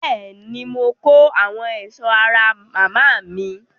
Bẹ́ẹ̀ ni, mo kó àwọn ẹ̀ṣọ́ ra màmá mi.